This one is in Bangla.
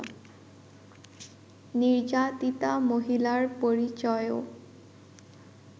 নির্যাতিতা মহিলার পরিচয়ও